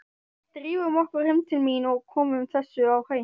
Drífum okkur heim til mín og komum þessu á hreint.